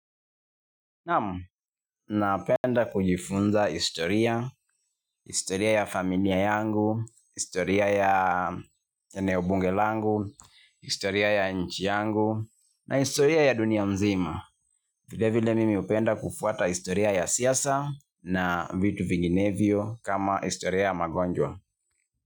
Nam, napenda kujifunza historia, historia ya familia yangu, historia ya eneo bunge langu, historia ya nchi yangu na historia ya dunia nzima. Vile vile mimi upenda kufuata historia ya siasa na vitu vinginevyo kama historia ya magonjwa.